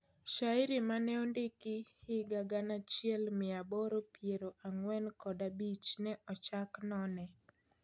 Shairi maneondik higa gana achiel mia aboro piero ang'uen kod abich ne ochak none